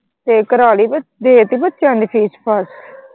ਤੇ ਕੁਰਾਲੀ ਦੇਤੀ ਬੱਚਿਆਂ ਦੀ fees ਫਾਸ।